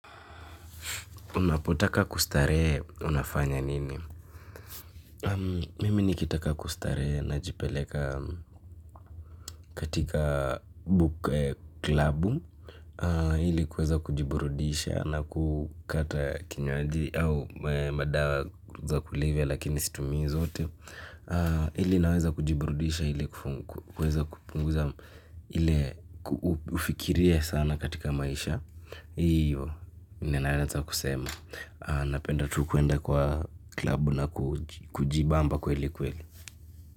Unapotaka kustarehe unafanya nini. Mimi nikitaka kustarehe najipeleka katika buke klabu. Ili kuweza kujiburudisha na kukata kinywaji au madawa za kulevya lakini situmii zote. Ili naweza kujiburudisha ili kupunguza ili ufikiria sana katika maisha. Hiyo, ninaweza kusema. Napenda tu kuenda kwa klabu na kujibamba kweli kweli.